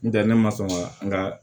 N tɛ ne ma sɔn ka n ga